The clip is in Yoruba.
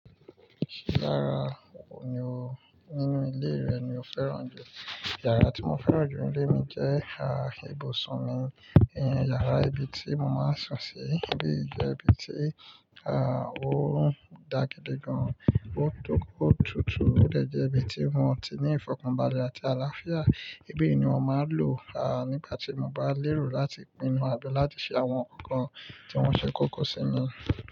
Kílara ohun oní nínú ilé rẹ tí o fẹ́ràn jù? Ìyàrá tí mo fẹ́ràn jù nínu ilé mi jẹ́ ìyàrá ìbùsùn mi. Ìyàrá ibi tí mo máa ń sùn sí. Ibí jẹ ibi tí, à, ó daa gidi gan an, ó tó kó tutù, ó dè jẹ́ ibi tí wọn ó ti ní ìfọ̀kànbalẹ̀ àti àlàáfíà. Ibi yìí ni mo máa ń lò, à, nígbà tí mo bá lérò láti pinu tàbi láti se àwọn ǹkan kan tí wọ́n ṣe kókó sí mi.